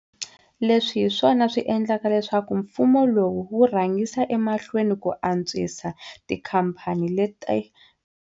Leswi hi swona swi endlaka leswaku mfumo lowu wu rhangisa emahlweni ku antswisa tikhamphani leti.